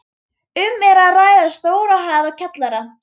Um er að ræða stóra hæð og kjallara.